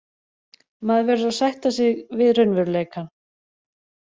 Maður verður að sætta sig við raunveruleikann.